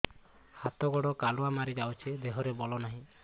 ହାତ ଗୋଡ଼ କାଲୁଆ ମାରି ଯାଉଛି ଦେହରେ ବଳ ନାହିଁ